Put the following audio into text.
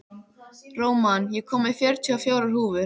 Róman, ég kom með fjörutíu og fjórar húfur!